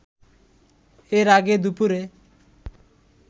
এর আগে দুপুরে